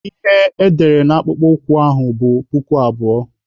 Ihe edere na akpụkpọ ụkwụ ahụ bụ puku abụọ.